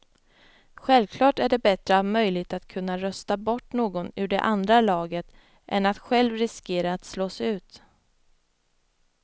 Självklart är det bättre att ha möjligheten att kunna rösta bort någon ur det andra laget än att själv riskera att slås ut.